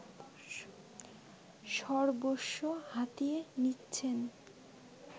সর্বস্ব হাতিয়ে নিচ্ছেন